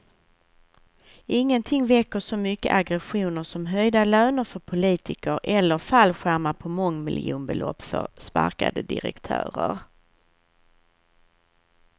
Ingenting väcker så mycket aggressioner som höjda löner för politiker eller fallskärmar på mångmiljonbelopp för sparkade direktörer.